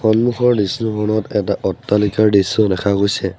সন্মুখৰ দৃশ্যখনত এটা অট্টালিকাৰ দৃশ্যও দেখা গৈছে।